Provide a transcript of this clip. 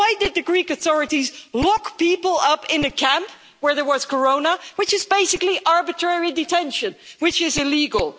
Why did the Greek authorities lock people up in the camp where there was Corona, which is basically arbitrary detention, which is illegal.